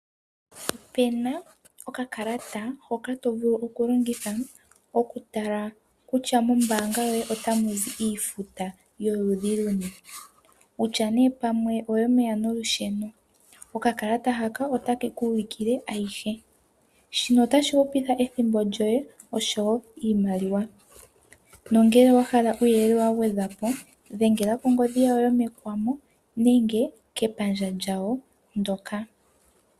Opena okakalata hoka to vulu okulongitha okutala kutya mombaanga yoye otamu zi iifuta yoludhi luni. Kutya nee pamwe oyomeya nolusheno. Okakalata haka otake ku ulikile ayihe. Shino otashi hupitha ethimbo lyoye oshowo iimaliwa. Nongele owa hala uuyelele wa gwedhwa po dhengela kongodhi yawo yomekuma nenge kepandja lyawo ndoka.